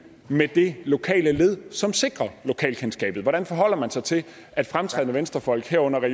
med det lokale led som sikrer lokalkendskabet hvordan forholder man sig til at fremtrædende venstrefolk herunder